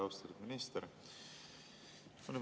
Austatud minister!